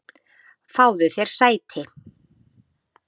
Fáðu þér sæti.